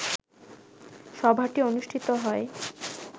সভাটি অনুষ্ঠিত হয়